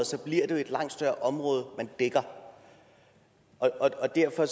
bliver det jo et langt større område man dækker og derfor